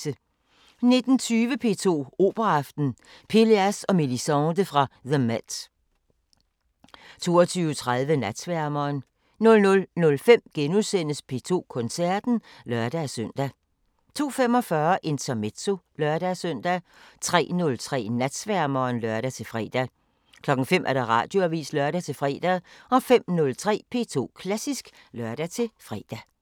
19:20: P2 Operaaften: Pélléas og Mélisande fra The MET 22:30: Natsværmeren 00:05: P2 Koncerten *(lør-søn) 02:45: Intermezzo (lør-søn) 03:03: Natsværmeren (lør-fre) 05:00: Radioavisen (lør-fre) 05:03: P2 Klassisk (lør-fre)